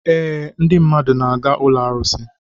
Ee, ndị mmadụ na-aga ụlọ arụsị.